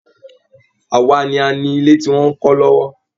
Àwa ni a ni ilé tí wọn ń kọ́ lọ́wọ́